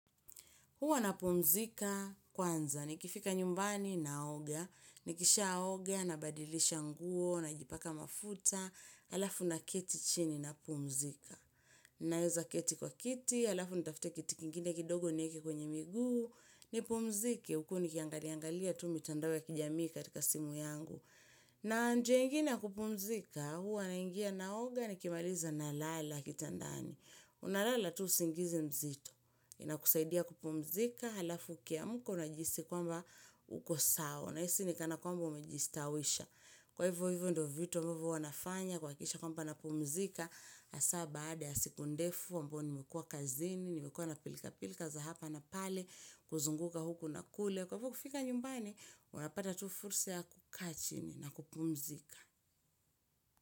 Huwa napumzika kwanza, nikifika nyumbani naoga, nikishaoga, nabadilisha nguo, najipaka mafuta, alafu na keti chini napumzika. Naeza keti kwa kiti, alafu nitafute kiti kingine kidogo nieke kwenye miguu, nipumzike, huku nikiangaliangalia tu mitandao ya kijamii katika simu yangu. Na njia ingine ya kupumzika, huwa naingia naoga nikimaliza nalala kitandani. Unalala tu usingizi mzito inakusaidia kupumzika alafu ukiamka unajihisi kwamba uko sawa nahisi ni kana kwamba Umejistawisha Kwa hivyo hivyo ndo vitu ambavo huwa nafanya kuhakikisha kwamba napumzika hasa baada ya siku ndefu ambao nimekua kazini, nimekua napilka-pilka za hapa na pale, kuzunguka huku na kule Kwa hivyo kufika nyumbani Unapata tu fursa ya kukaa chini na kupumzika.